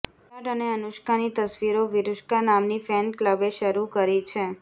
વિરાટ અને અનુષ્કાની તસવીરો વિરૂષ્કા નામની ફેન ક્લબે શેર કરી છે